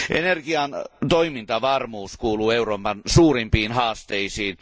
Energian toimintavarmuus kuuluu Euroopan suurimpiin haasteisiin.